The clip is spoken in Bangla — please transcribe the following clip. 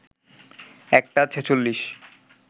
১টা ৪৬